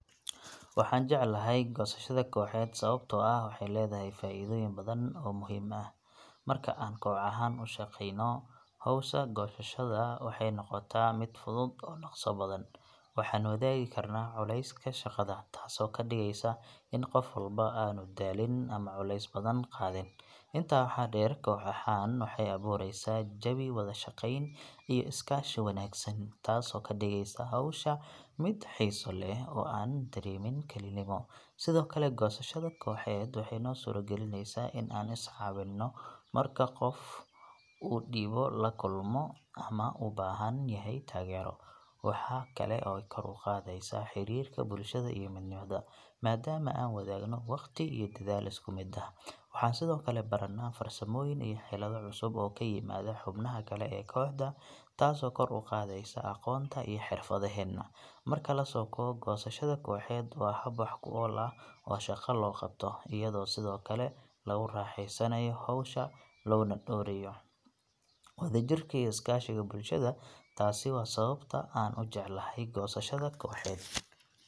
Waxaan jeclahay goosashada kooxeed sababtoo ah waxay leedahay faa’iidooyin badan oo muhiim ah. Marka aan koox ahaan u shaqeyno, hawsha goosashada waxay noqotaa mid fudud oo dhaqso badan. Waxaan wadaagi karnaa culayska shaqada, taasoo ka dhigaysa in qof walba aanu daalin ama culays badan qaadin. Intaa waxaa dheer, koox ahaan waxay abuureysaa jawi wada shaqeyn iyo iskaashi oo wanaagsan, taasoo ka dhigaysa hawsha mid xiiso leh oo aanan dareemin kalinimo. Sidoo kale, goosashada kooxeed waxay noo suuragelinaysaa in aan is caawinno marka qof uu dhib la kulmo ama u baahan yahay taageero. Waxa kale oo ay kor u qaadaa xiriirka bulshada iyo midnimada, maadaama aan wadaagno waqti iyo dadaal isku mid ah. Waxaan sidoo kale baranaa farsamooyin iyo xeelado cusub oo ka yimaada xubnaha kale ee kooxda, taasoo kor u qaadaysa aqoonta iyo xirfadaheena. Marka la soo koobo, goosashada kooxeed waa hab wax ku ool ah oo shaqo loo qabto, iyadoo sidoo kale lagu raaxeysanayo hawsha loona dhowrayayo wadajirka iyo iskaashiga bulshada. Taasi waa sababta aan u jeclahay goosashada kooxeed.